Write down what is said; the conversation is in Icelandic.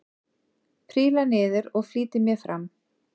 Príla niður og flýti mér fram.